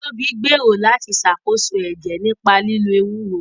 Tobi gbèrò láti ṣàkóso ẹ̀jẹ̀ nípa lílo ewúro